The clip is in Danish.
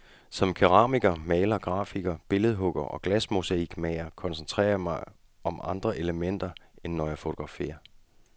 Som keramiker, maler, grafiker, billedhugger og glasmosaikmager koncentrerer jeg mig om andre elementer, end når jeg fotograferer.